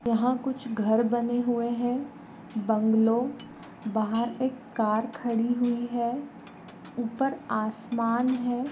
यहाँ कुछ घर बने हुए हैं बंगलो बाहर एक कार खडी हुई है ऊपर आसमान है।